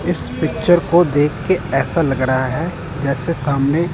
इस पिक्चर को देख के ऐसा लग रहा है जैसे सामने--